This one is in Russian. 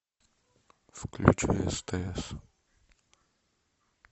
включи стс